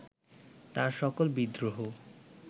তাঁর সকল বিদ্রোহ